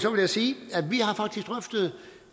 vil jeg sige